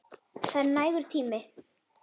Það er nægur tími.